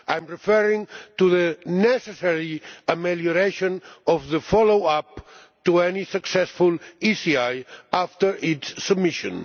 I am referring to the necessary amelioration of the follow up to any successful ECI after its submission.